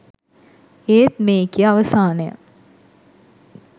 ඒත් මේකෙ අවසානය